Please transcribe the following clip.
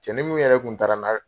Cɛnin min yɛrɛ kun taara n'a ye